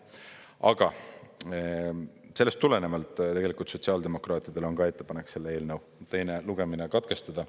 Aga sellest tulenevalt tegelikult sotsiaaldemokraatidel on ka ettepanek selle eelnõu teine lugemine katkestada.